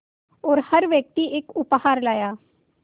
और हर व्यक्ति एक उपहार लाया